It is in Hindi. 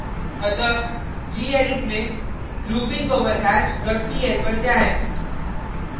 अतः gedit में loopingoverhash dot pl पर जाएँ